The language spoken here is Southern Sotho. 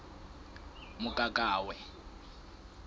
mokakawe